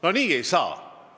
No nii ei saa!